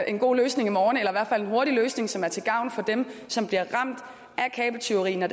en god løsning i morgen eller i en hurtig løsning som er til gavn for dem som bliver ramt af kabeltyveri når